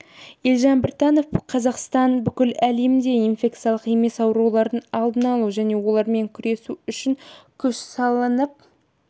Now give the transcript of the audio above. елжан біртанов қазақстан бүкіл әлемде инфекциялық емес аурулардың алдын алу және олармен күресу үшін күш салынып